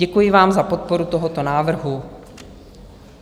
Děkuji vám za podporu tohoto návrhu.